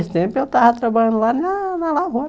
Nesse tempo eu estava trabalhando lá na na lavoura.